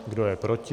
Kdo je proti?